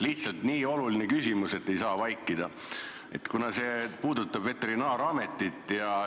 Lihtsalt nii oluline küsimus, et ei saa vaikida, kuna see puudutab veterinaarametit.